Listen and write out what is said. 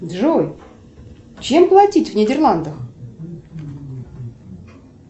джой чем платить в нидерландах